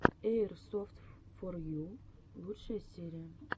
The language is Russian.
эйрсофтфорйу лучшая серия